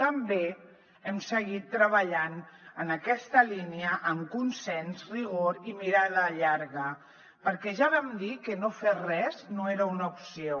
també hem seguit treballant en aquesta línia amb consens rigor i mirada llarga perquè ja vam dir que no fer res no era una opció